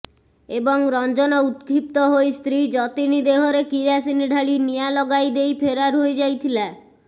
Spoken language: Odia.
ଏବଂ ରଂଜନ ଉତ୍କ୍ଷିପ୍ତ ହୋଇ ସ୍ତ୍ରୀ ଯତିନୀ ଦେହରେ କିରାସିନି ଢାଳି ନିଆଁ ଲଗାଇଦେଇ ଫେରାର ହୋଇଯାଇଥିଲା